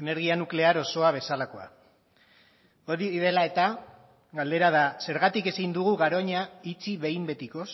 energia nuklear osoa bezalakoa hori dela eta galdera da zergatik ezin dugu garoña itxi behin betikoz